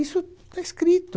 Isso está escrito.